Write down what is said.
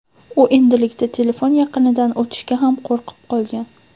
U endilikda telefon yaqinidan o‘tishga ham qo‘rqib qolgan.